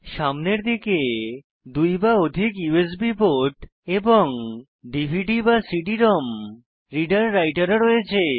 সামনের দিকে 2 বা অধিক ইউএসবি পোর্ট এবং dvdcd রোম রিডার রাইটার ও দেখবেন